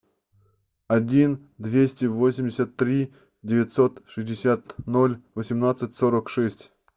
один двести восемьдесят три девятьсот шестьдесят ноль восемнадцать сорок шесть